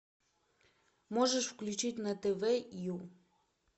можешь включить на тв ю